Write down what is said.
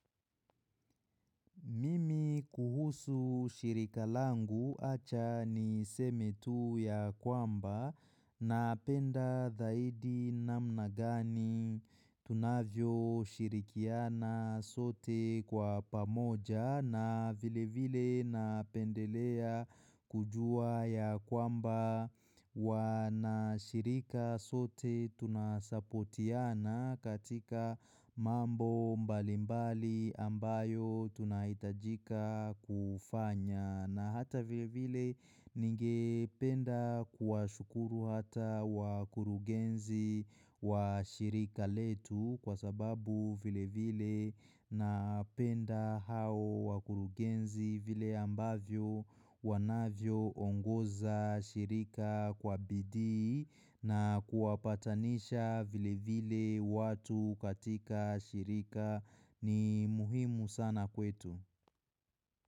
Mimi kuhusu shirika langu acha niseme tu ya kwamba napenda zaidi namna gani tunavyoshirikiana sote kwa pamoja na vilevile napendelea kujua ya kwamba. Wanashirika sote tunasapotiana katika mambo mbalimbali ambayo tunahitajika kufanya na hata vilevile ningependa kuwashukuru hata wakurugenzi wa shirika letu kwa sababu vilevile napenda hao wakurugenzi vile ambavyo wanavyoongoza shirika kwa bidii na kuwapatanisha vilevile watu katika shirika ni muhimu sana kwetu.